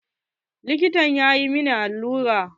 Likitan ya min allura.